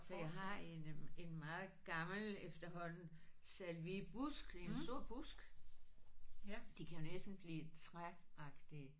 For jeg har en øh en meget gammel efterhånden salviebusk en stor busk. De kan jo næsten blive træagtige